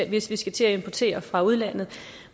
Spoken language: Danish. hvis vi skal til at importere det fra udlandet